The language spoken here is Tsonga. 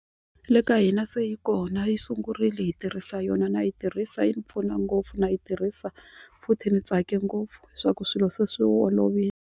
Le ka hina se yi kona yi sungurile hi tirhisa yona na yi tirhisa yi ni pfuna ngopfu na yi tirhisa futhi ni tsake ngopfu leswaku swilo se swi olovile.